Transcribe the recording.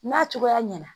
N'a cogoya ɲɛna